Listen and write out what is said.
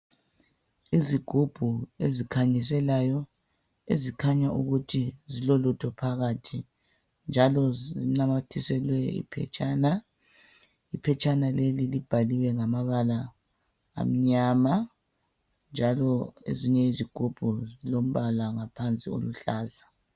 Izigubhu ezikhanyiselayo ezikhanya ukuthi zilolutho phakathi njalo zinanyathiselwe iphetshana. Iphetshana leli libhaliwe ngamabala amnyama njalo ezinye izigubhu zilombala ngaphansi oluhlaza.